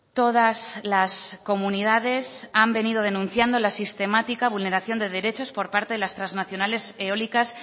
todas las comunidades han venido denunciando la sistemática vulneración de derechos por parte de las transnacionales eólicas